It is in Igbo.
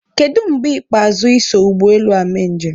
Kedụ mgbe ikpeazụ I so ụgbọelu a mee njem?